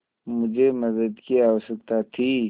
मुझे मदद की आवश्यकता थी